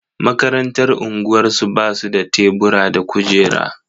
Makarantar unguwarsu ba su da tebura da kujera.